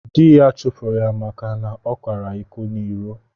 Dị́ ya chụpụrụ ya maka na ọ kwàrá ịkọ n'iró